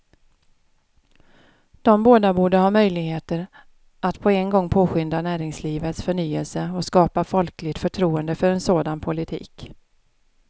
De båda borde ha möjligheter att på en gång påskynda näringslivets förnyelse och skapa folkligt förtroende för en sådan politik.